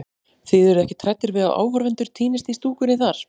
Þið eruð ekkert hræddir við að áhorfendur týnist í stúkunni þar?